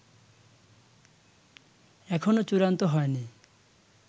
এখনও চূড়ান্ত হয়নি